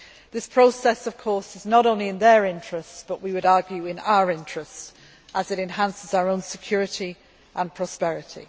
This process of course is not only in their interest, but we would argue in our interests, as it enhances our own security and prosperity.